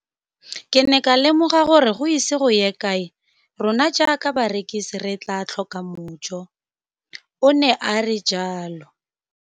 Ke ne ka lemoga gore go ise go ye kae rona jaaka barekise re tla tlhoka mojo, o ne a re jalo.